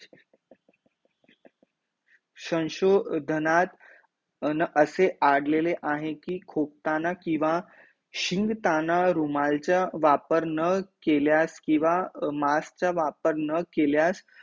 संशोधनात अं असे अडलेले आहे कि खोकताना किंवा शिंकताना रुमालाचा वापर न केल्यास किंवा मास्क चा वापर न केल्यास